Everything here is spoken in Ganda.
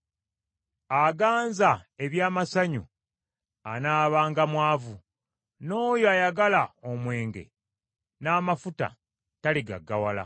Aganza eby’amasanyu anaabanga mwavu, n’oyo ayagala omwenge n’amafuta taligaggawala.